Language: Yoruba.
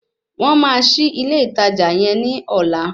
Wọ́n máa ṣí ilé ìtajà yẹn ní ọ̀la